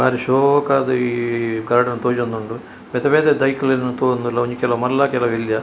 ಬಾರಿ ಶೋಕಾದ್ ಈ ಗಾರ್ಡನ್ ತೋಜೊಂದುಂಡು ಬೇತೆ ಬೇತೆ ದೈಕ್ಲೆನ್ ತೂವೊಂದುಲ್ಲ ಒಂಜಿ ಕೆಲವು ಮಲ್ಲ ಕೆಲವು ಎಲ್ಲ್ಯ.